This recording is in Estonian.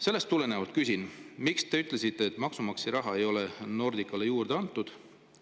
Sellest tulenevalt küsin, miks te ütlesite, et maksumaksja raha ei ole Nordicale juurde antud.